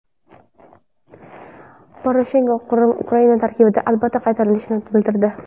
Poroshenko Qrim Ukraina tarkibiga albatta qaytarilishini bildirdi.